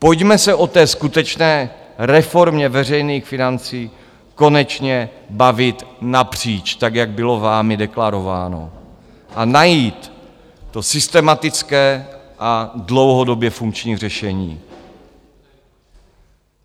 Pojďme se o té skutečné reformě veřejných financí konečně bavit napříč, tak jak bylo vámi deklarováno, a najít to systematické a dlouhodobě funkční řešení.